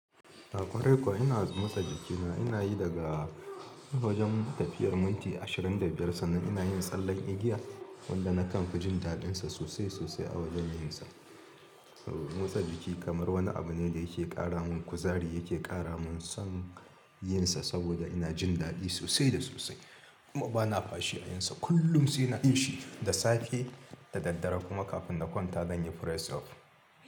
A kwarai kuwa ina motsa jikina ina yi daga wajen tafiyar minti ashirin da biyar sannan ina yin tsallen igiya wanda na kan jin daɗinsa sosai sosai a wajen yinsa. Motsa jiki kamar wani abu ne da yake ƙara min kuzari, yake ƙara min son yin sa saboda ina jin daɗi sosai da sosai kuma bana bashi na yinsa kullum sainna yin shi da safe da daddare kuma kafin na kwanta don ya press up.